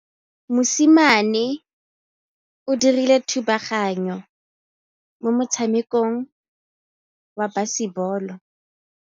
Mosimane o dirile thubaganyô mo motshamekong wa basebôlô.